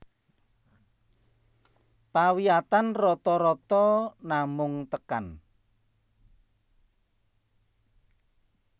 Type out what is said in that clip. Pawiyatan rata rata namung tekan